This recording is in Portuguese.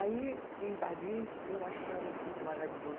Aí, em Paris, eu achava tudo maravilhoso.